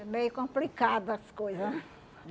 É meio complicado as coisa, né?